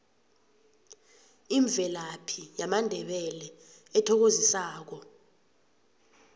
imvelaphi yamandebele ethokozisako